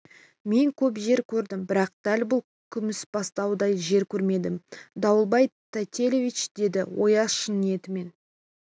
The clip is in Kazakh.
мен көп жер көрдім бірақ дәл бұл күмісбастаудай жер көрмедім дауэльбай тайтелиевич деді ояз шын ниетімен